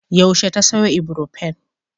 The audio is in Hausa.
Yaushe ta sayo Ibrofen?